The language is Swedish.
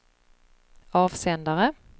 avsändare